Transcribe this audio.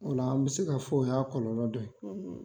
Ola an mi se ka fɔ, o y'a kɔlɔlɔ dɔ ye